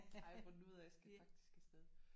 Har jeg fundet ud af jeg skal faktisk afsted